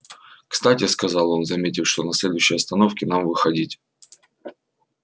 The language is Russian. кстати сказал он заметив что на следующей остановке нам выходить